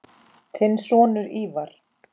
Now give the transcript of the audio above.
Þinn sonur, Ívar.